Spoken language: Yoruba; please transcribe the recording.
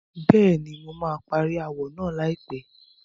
Bẹ́ẹ̀ni, mo máa parí ááwọ̀ náà láìpẹ́.